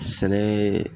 Sɛnɛ